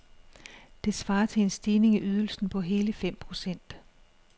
Det svarer til en stigning i ydelsen på hele fem procent.